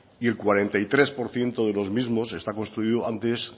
y el cuarenta y tres por ciento de los mismos están construidos antes